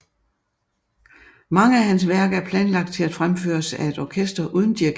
Mange af hans værker er planlagt til at fremføres af et orkester uden dirigent